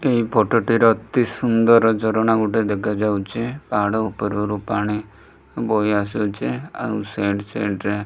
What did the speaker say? Photo ଟିର ଅତି ସୁନ୍ଦର ଝରଣା ମଧ୍ୟ ଦେଖାଯାଉଛି ପାହାଡ ଉପରୁ ପାଣି ବୋହିଆସୁଛି ଆଉ ସାଇଡି ସାଇଡି ରେ।